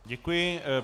Děkuji.